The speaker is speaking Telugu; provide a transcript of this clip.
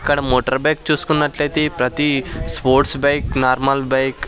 అక్కడ మోటార్ బైక్ చూసుకున్నట్లయితే ప్రతి స్పోర్ట్స్ బైక్ నార్మల్ బైక్ --